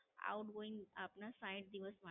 Outgoing આપના સાહીઠ દિવસ માટે.